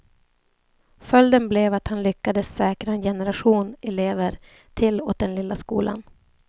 Följden blev att han lyckades säkra en generation elever till åt den lilla skolan.